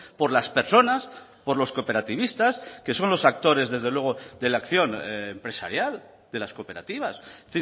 por las personas por los cooperativistas que son los actores desde luego de la acción empresarial de las cooperativas es